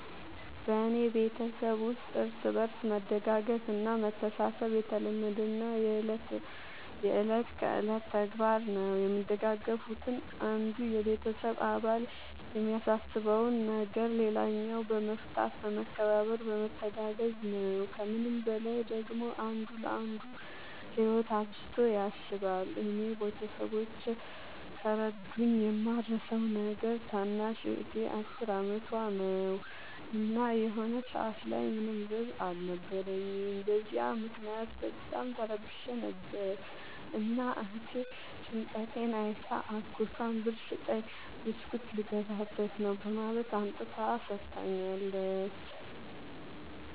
በኔ ቤተሠብ ውስጥ እርስ በርስ መደጋገፍ እና መተሣሠብ የተለመደና የእለት ከእለት ተግባር ነው። የሚደጋገፉትም አንዱ የቤተሰብ አባል የሚያሳስበውን ነገር ሌላኛው በመፍታት በመከባበር በመተጋገዝ ነው። ከምንም በላይ ደግሞ አንዱ ለአንዱ ህይወት አብዝቶ ያስባል። እኔ ቤተሠቦቼ ከረዱኝ የማረሣው ነገር ታናሽ እህቴ አስር አመቷ ነው። እና የሆነ ሰአት ላይ ምንም ብር አልነበረኝም። በዚያ ምክንያት በጣም ተረብሼ ነበር። እና እህቴ ጭንቀቴን አይታ አጎቷን ብር ስጠኝ ብስኩት ልገዛበት ነው በማለት አምጥታ ሠጥታኛለች።